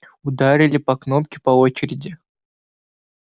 ударили по кнопке по очереди